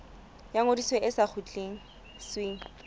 ya ngodiso e sa kgutlisweng